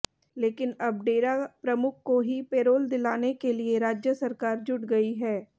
लेकिन अब डेरा प्रमुख को ही पैरोल दिलाने के लिए राज्य सरकार जुट गई है